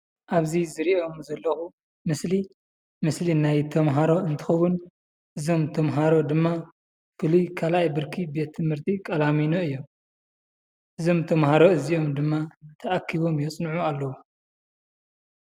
ኣብዚ ዝሪኦ ዘለኹ ምስሊ ምስሊ ናይ ተምሃሮ እንትኸውን እዞም ተምሃሮ ድማ ካልኣይ ብርኪ ቤትትምህርቲ ቀላሚኖ እዮም ። እዞም ተምሃሮ እዚኦም ድማ ተኣኪቦም የፅንዑ ኣለዉ ።